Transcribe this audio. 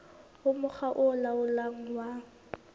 ho mokga o laolang wa